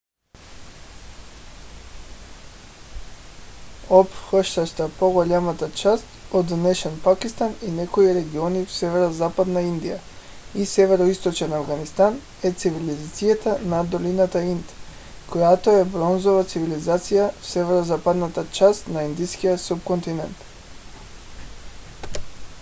обхващаща по-голямата част от днешен пакистан и някои региони в северозападна индия и североизточен афганистан е цивилизацията на долината инд която е бронзова цивилизация в северозападната част на индийския субконтинент